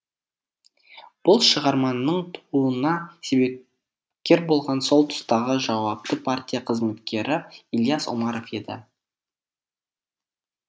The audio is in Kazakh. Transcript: бұл шығарманың тууына себепкер болған сол тұстағы жауапты партия қызметкері ілияс омаров еді